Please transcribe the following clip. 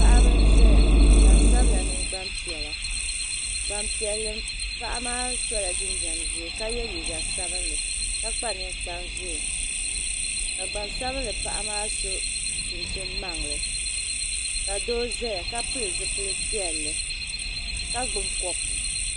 Paɣiba n zaya gban sabila mini gban piɛla gbanpɛli paɣa maa sola jinjam zɛɛ ka ye liiga sabinli ka kpa ninkpari zɛɛ ka gban sabinli paɣimaa so chin chin maŋli ka doo zaya ka pili zipili piɛli ka gbubi kopu